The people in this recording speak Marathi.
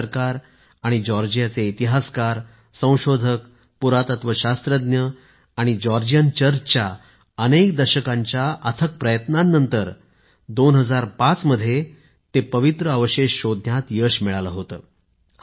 भारत सरकार आणि जॉर्जियाचे इतिहासकार संशोधक पुरातत्व शास्त्रज्ञ आणि जॉर्जियन चर्चच्या अनेक दशकांच्या अथक प्रयत्नानंतर 2005 मध्ये ते पवित्र अवशेष शोधण्यात यश मिळाले होते